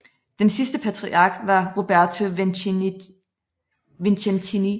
Den sidste patriark var Roberto Vincentini